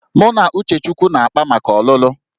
Mụ na Uchechukwu na-akpá maka ọlụlụ